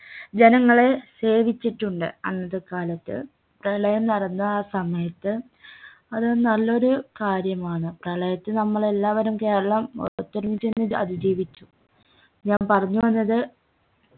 ജനങ്ങളെ സേവിച്ചിട്ടുണ്ട് അന്നത്തെ കാലത്ത് പ്രളയം നടന്ന ആ സമയത്ത് അതൊരു നല്ലൊരു കാര്യമാണ് പ്രളയത്തിൽ നമ്മൾ എല്ലാവരും കേരളം ഒത്തൊരുമിച്ചിരുന്ന് അതിജീവിച്ചു ഞാൻ പറഞ്ഞു വന്നത്